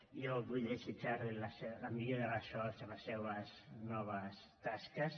jo vull desitjar li la millor de les sorts en les seues noves tasques